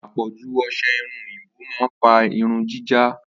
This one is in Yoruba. Àpọ̀ju ọsẹ-irun oyinbo ma ń fa irun jíjá.